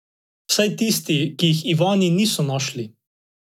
Vsaj tisti, ki jih Ivani niso našli.